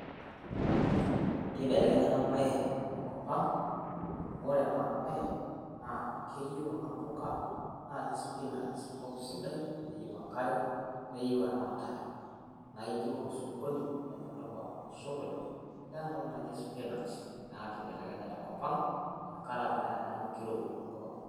kibelekenya enaa bae tenkop ang' amu wore ena bae na keyieu kuna pookin naaji spinach enkop sidai, wenkare neyieu eramatare naijio wore osokoni nemedupa osokoni lenatoki naji espinach nakibelekenya tenkop ang' tenkaraki naa inaa eneaku kirowua tenkop ang'